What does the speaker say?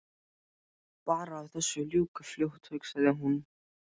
Bara að þessu ljúki fljótt hugsaði hún.